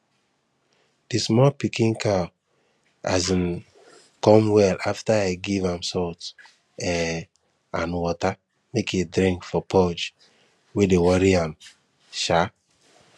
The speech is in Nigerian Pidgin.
the small pikin cow um come well after i give am salt um and water make e drink for purge wey dey worry am um